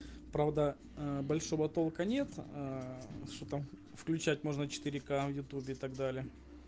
правда ээ большого толка нет ээ что там включать можно четыре ка в ютубе и так далее